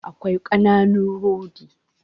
Akwai ƙananun rodi